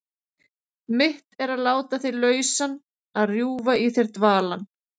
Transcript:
Mitt er að láta þig lausan, að rjúfa í þér dvalann.